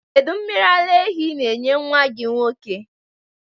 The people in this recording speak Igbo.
Kedụ mmiri ala ehi ị na-enye nwa gị nwoke?